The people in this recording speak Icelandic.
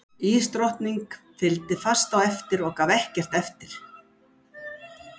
Ísdrottningi fylgdi fast á eftir og gaf ekkert eftir.